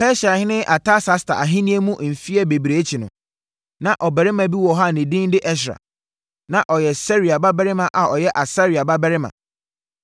Persiahene Artasasta ahennie mu mfeɛ bebree akyi no, na ɔbarima bi wɔ hɔ a ne din de Ɛsra. Na ɔyɛ Seraia babarima a ɔyɛ Asaria babarima, na ɔno nso yɛ Hilkia babarima